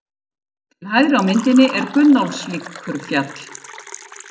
Til hægri á myndinni er Gunnólfsvíkurfjall.